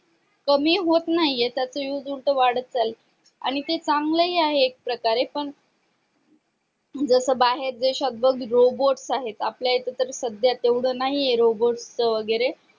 कमी होत नाही त्याचा used उलट वाढत चालाय आणि ते चांगलंय आहे एक प्रकारे पण जसे बाहेर देश्यात बग robot आहे आपल्या इथे तर सध्या तेवढे नाहीये robot वगैरे